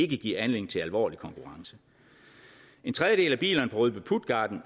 give anledning til alvorlig konkurrence en tredjedel af bilisterne på rødby puttgarden